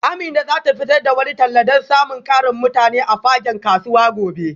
Amina za ta fitar da wani talla don samun ƙarin mutane a fagen kasuwa gobe